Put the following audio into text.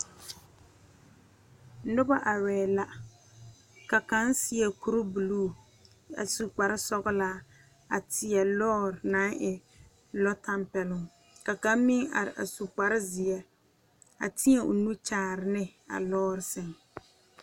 Nobɔ arɛɛ la ka kaŋ seɛ kuribluu a su kparesɔglaa a teɛ lɔɔre naŋ e lɔ tampɛloŋ ka kaŋ meŋ are a su kparezeɛ a teɛ o nu kyaare ne a lɔɔre sɛŋ.